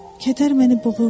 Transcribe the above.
Kədər məni boğurdu.